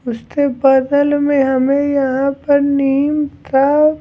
उसके बगल में हमें यहाँ पर नीम था --